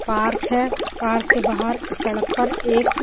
park है park के बाहर ए सडक पर एक --